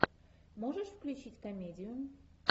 можешь включить комедию